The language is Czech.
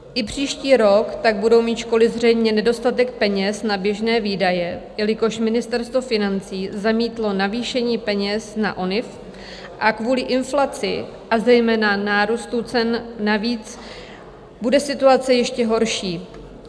I příští rok tak budou mít školy zřejmě nedostatek peněz na běžné výdaje, jelikož Ministerstvo financí zamítlo navýšení peněz na ONIV, a kvůli inflaci a zejména nárůstu cen navíc bude situace ještě horší.